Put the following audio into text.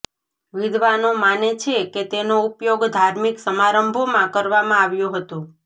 વિદ્વાનો માને છે કે તેનો ઉપયોગ ધાર્મિક સમારંભોમાં કરવામાં આવ્યો હતો